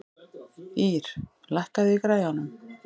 Ýr, lækkaðu í græjunum.